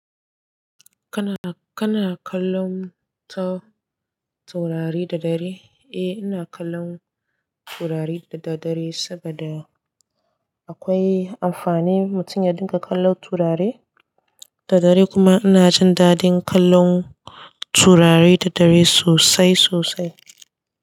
Kana, kana kallon taurari da dare? Eh, ina kallon taurari da, daddare saboda akwai amfani mutum ya dinga kallon taurari da dare kuma ina jin dadin kallon taurari daddare sosai sosai.